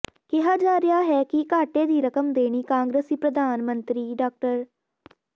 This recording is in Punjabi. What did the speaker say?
ਕਿਹਾ ਜਾ ਰਿਹਾ ਹੈ ਕਿ ਘਾਟੇ ਦੀ ਰਕਮ ਦੇਣੀ ਕਾਂਗਰਸੀ ਪ੍ਰਧਾਨ ਮੰਤਰੀ ਡਾ